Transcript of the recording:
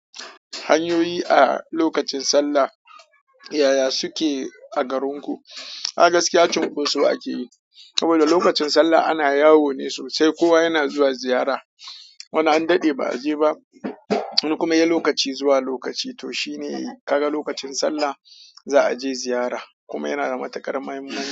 Hanyoyi a lokacin Sallah ya ya suke a garin ku? A gaskiya cin koso akeyi, saboda lokacin Sallah ana yawo ne sosai. Kowa yana zuwa ziyara. Wani an daɗe ba a je ba. Wani kuma ye lokaci zuwa lokaci. To shine kaga lokacin Sallah za a je ziyara, kuma yana da matukar muhimmanci.